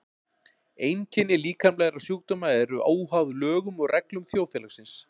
Einkenni líkamlegra sjúkdóma eru óháð lögum og reglum þjóðfélagsins.